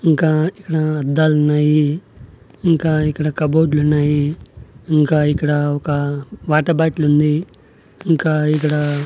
ఇంకా ఇక్కడ అద్దాలున్నాయి ఇంకా ఇక్కడ కప్ బోర్డ్ లు ఉన్నాయి ఇంకా ఇక్కడ ఒక వాటర్ బాటిలు ఉంది ఇంకా ఇక్కడ --